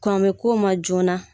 Karamɔgɔko ma joona